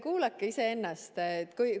Kuulake ennast!